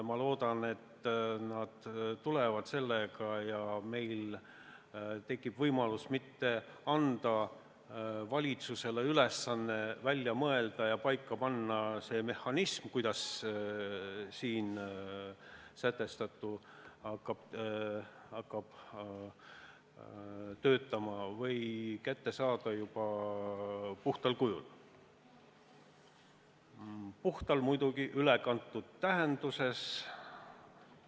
Ma loodan, et nad tulevad sellega välja ja meil tekib võimalus mitte anda valitsusele ülesannet välja mõelda ja paika panna see mehhanism, kuidas selles eelnõus väljapakutu hakkaks töötama, või kuidas see kätte saada juba puhtal kujul – "puhtal" muidugi ülekantud tähenduses.